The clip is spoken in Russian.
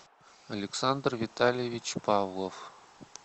александр витальевич павлов